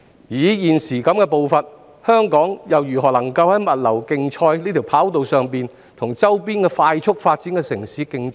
以現時的步伐，香港又怎能在物流競賽的跑道上跟周邊快速發展的城市競爭？